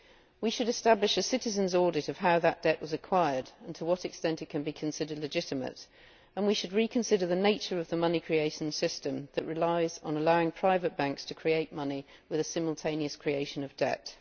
We should establish a citizens' audit of how that debt was acquired and to what extent it can be considered legitimate, and we should reconsider the nature of the money creation system, which relies on allowing private banks to create money with a simultaneous creation of debt.